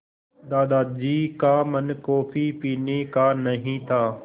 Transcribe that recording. दादाजी का मन कॉफ़ी पीने का नहीं था